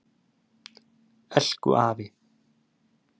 Elku afi.